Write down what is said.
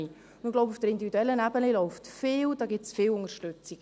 Ich glaube, auf der individuellen Ebene läuft vieles, da gibt es viel Unterstützung.